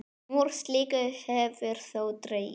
Úr slíku hefur þó dregið.